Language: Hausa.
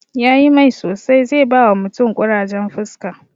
Yayi mai sosai, zai bawa mutum ƙurajen fuska